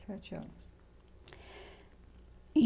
Sete anos. E